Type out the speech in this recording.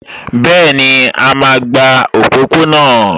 Bẹ́ẹ̀ni, a máa gba òpópó-ọ̀nà